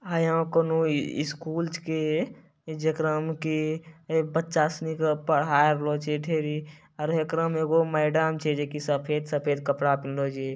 आय यहां कोनो स्कूल छींके जेकरा मे की बच्चा सीनी के पढ़ाय रहल छै ढेरी आर हेकरा में एगो मैडम छै जे की सफेद-सफेद कपड़ा पिहिन्ला छ।